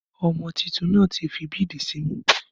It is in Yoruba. Ọmọ títùn na ti fi bídì símù.